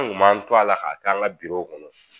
An ŋun b'an to a la k'a k'an ŋa w kɔnɔ